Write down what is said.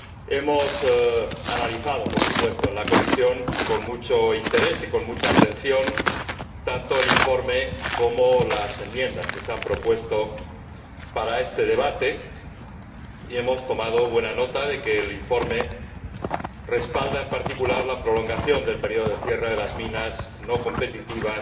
Hemos analizado en la Comisión, con mucho interés y con mucha atención, tanto el informe como las enmiendas que se han propuesto para este debate, y hemos tomado buena nota de que el informe respalda en particular la prolongación del periodo de cierre de las minas no competitivas